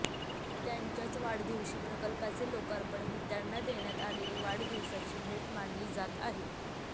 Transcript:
त्यांच्याच वाढदिवशी प्रकल्पाचे लोकार्पण ही त्यांना देण्यात आलेली वाढदिवसाची भेट मानली जात आहे